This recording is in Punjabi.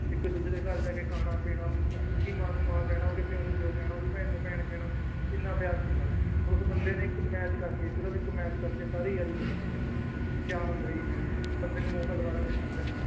ਇੱਕ ਦੂਜੇ ਦੇ ਘਰ ਜਾ ਕੇ ਖਾਣਾ ਪੀਣਾ ਉਹਦੀ ਮਾਂ ਨੂੰ ਮਾਂ ਕਹਿਣਾ, ਉਹਦੇ ਪਿਉ ਨੂੰ ਪਿਉ ਕਹਿਣਾ, ਉਹਦੀ ਭੈਣ ਨੂੰ ਭੈਣ ਕਹਿਣਾ ਇੰਨਾ ਪਿਆਰ ਸੀਗਾ, ਉਸ ਬੰਦੇ ਨੇ ਇੱਕ match ਕਰਕੇ ਸਿਰਫ਼ ਇੱਕ match ਕਰਕੇ ਸਾਰੀ ਯਾਰੀ ਤੋੜ ਦਿੱਤੀ ਕਿਆ ਹੁੰਦਾ ਸੀ match ਬੰਦੇ ਨੂੰ ਮੌਕਾ ਦੁਬਾਰਾ ਮਿਲ ਜਾਂਦਾ ਹੈ।